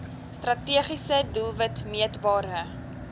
strategiese doelwit meetbare